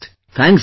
Thanks brother